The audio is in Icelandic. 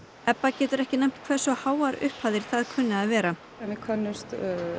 Ebba getur ekki nefnt hversu háar upphæðir það kunni að vera við könnumst